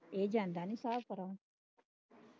ਇਹ ਜਾਂਦਾ ਨਹੀਂ ਸਾਬ ਕਰਨ